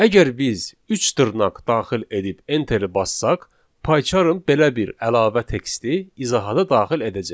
Əgər biz üç dırnaq daxil edib Enteri bassaq, PyCharm belə bir əlavə teksti izahata daxil edəcək.